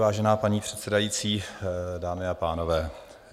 Vážená paní předsedající, dámy a pánové.